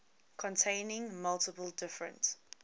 containing multiple different